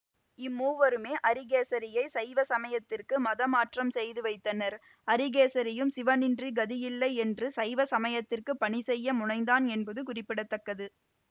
இம்மூவருமே அரிகேசரியைச் சைவ சமயத்திற்கு மதமாற்றம் செய்து வைத்தனர் அரிகேசரியும் சிவனின்றி கதியில்லை என்று சைவ சமயத்திற்கு பணி செய்ய முனைந்தான் என்பதும் குறிப்பிட தக்கது